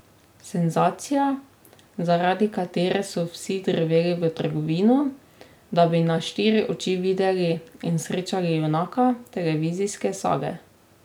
Senzacija, zaradi katere so vsi drveli v trgovino, da bi na štiri oči videli in srečali junaka televizijske sage.